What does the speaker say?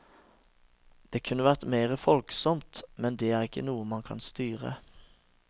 Det kunne vært mer folksomt, men det er ikke noe man kan styre.